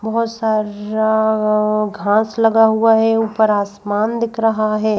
बहोत सारररा घास लगा हुआ है ऊपर आसमान दिख रहा है।